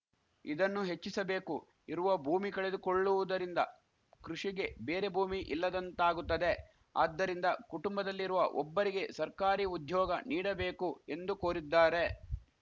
ಇದನ್ನು ಹೆಚ್ಚಿಸಬೇಕು ಇರುವ ಭೂಮಿ ಕಳೆದುಕೊಳ್ಳುವುದರಿಂದ ಕೃಷಿಗೆ ಬೇರೆ ಭೂಮಿ ಇಲ್ಲದಂತಾಗುತ್ತದೆ ಆದ್ದರಿಂದ ಕುಟುಂಬದಲ್ಲಿರುವ ಒಬ್ಬರಿಗೆ ಸರ್ಕಾರಿ ಉದ್ಯೋಗ ನೀಡಬೇಕು ಎಂದು ಕೋರಿದ್ದಾರೆ